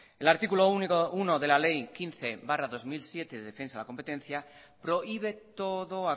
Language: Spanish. el artículo uno de la ley quince barra dos mil siete de defensa de la competencia prohíbe todo